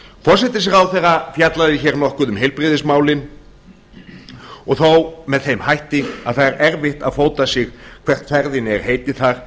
forsætisráðherra fjallaði hér nokkuð um heilbrigðismálin og þó með þeim hætti að það er erfitt að fóta sig hvert ferðinni er heitið þar